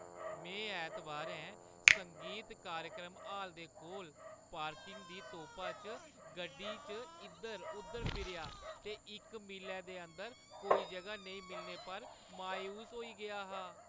में ऐतबारें संगीत कार्यक्रम हाल दे कोल पार्किंग दी तोपा च गड्डी च इद्धर-उद्धर फिरेआ ते इक मीलै दे अंदर कोई जगह नेईं मिलने पर मायूस होई गेआ हा।